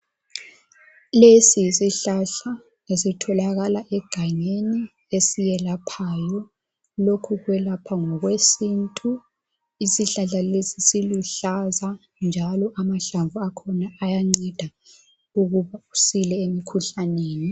Lesi yisihlahla esitholakala egangeni esiyelaphayo lokhu kwelapha ngokwe sintu isihlahla lesi siluhlaza njalo amahlamvu akhona ayanceda ukuba usile emikhuhlaneni.